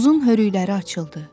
Uzun hörükləri açıldı.